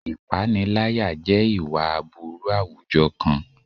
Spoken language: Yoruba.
Ìpániláyà jẹ́ ìwà aburú àwùjọ kan.